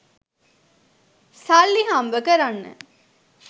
සල්ලි හම්බ කරන්න